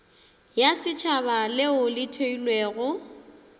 ya setšhaba leo le theilwego